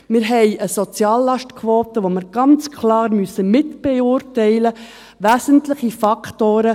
Wir haben eine Soziallastquote, die wir ganz klar mitbeurteilen muss, wesentliche Faktoren, ……